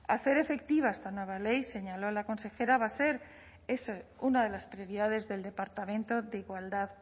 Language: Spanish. hacer efectiva esta nueva ley señaló la consejera va a ser eso una de las prioridades del departamento de igualdad